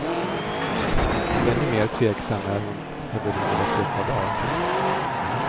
Ännu mer tveksam är hon när vi ringer efter ett par dar.